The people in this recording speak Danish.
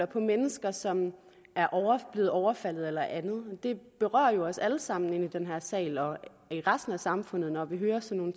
på mennesker som er blevet overfaldet eller andet det berører jo os alle sammen i den her sal og i resten af samfundet når vi hører sådan